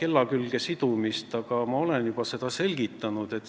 kella külge siduda, aga ma olen seda juba selgitanud.